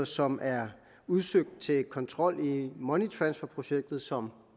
som er udsøgt til kontrol i money transfer projektet som